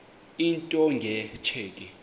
into nge tsheki